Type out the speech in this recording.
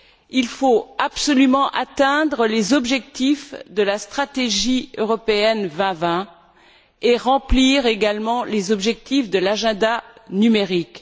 Il faut absolument atteindre les objectifs de la stratégie Europe 2020 et remplir également les objectifs de l'agenda numérique.